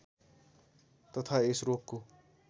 तथा यस रोगको